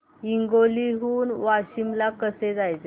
हिंगोली हून वाशीम ला कसे जायचे